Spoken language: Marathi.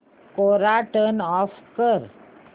कोरा टर्न ऑफ कर